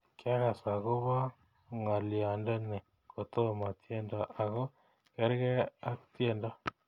Kyagas agoba ngolyondeni kotomo tyendo ago gergei ak tyendo